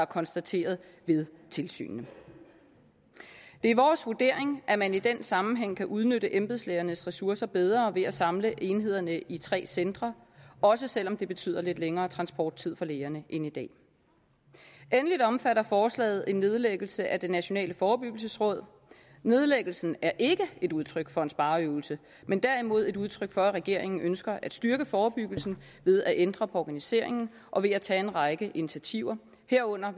konstateret ved tilsynet det er vores vurdering at man i den sammenhæng kan udnytte embedslægernes ressourcer bedre ved at samle enhederne i tre centre også selv om det betyder lidt længere transporttid for lægerne end i dag endelig omfatter forslaget en nedlæggelse af det nationale forebyggelsesråd nedlæggelsen er ikke et udtryk for en spareøvelse men derimod et udtryk for at regeringen ønsker at styrke forebyggelsen ved at ændre på organiseringen og ved at tage en række initiativer herunder